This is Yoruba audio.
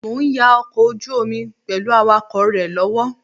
Mo ń ya ọkọ̀ ojú omi pẹ̀lú awakọ̀ rẹ lọ́wọ́